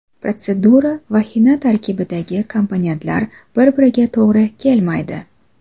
Protsedura va xina tarkibidagi komponentlar bir-biriga to‘g‘ri kelmaydi.